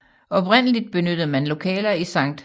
Oprindeligt benyttede man lokaler i Sct